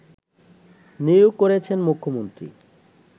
নিয়োগ করেছেন মুখ্যমন্ত্রী